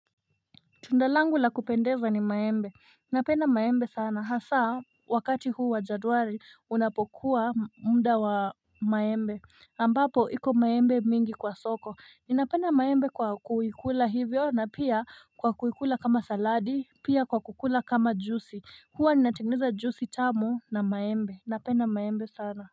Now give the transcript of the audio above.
Tunda langu la kupendeza ni maembe Napenda maembe sana hasa wakati huu wa janwari unapokuwa mda wa maembe ambapo hiko maembe mingi kwa soko Ninapenda maembe kwa kuikula hivyo na pia kwa kuikula kama saladi pia kwa kukula kama jusi Hua ninatengeneza jusi tamu na maembe napenda maembe sana.